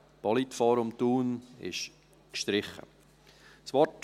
Das Politforum in Thun ist gestrichen.